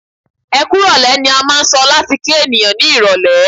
"Ẹkú ìrọ̀lẹ́" ni a máà ń sọ láti kí ènìyàn ní irọ̀lẹ́.